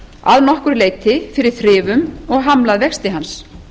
að nokkru leyti fyrir þrifum og hamlað vexti hans